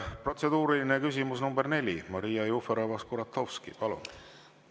Protseduuriline küsimus nr 4, Maria Jufereva-Skuratovski, palun!